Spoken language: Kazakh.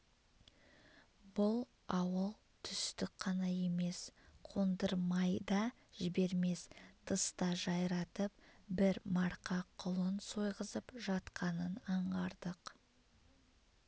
бұл ауыл түстік қана емес кондырмай да жібермес тыста жайратып бір марқа құлын сойғызып жатқанын аңғардық